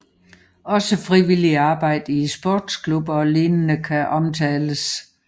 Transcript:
Også frivilligt arbejde i sportsklubber og lignende kan omtales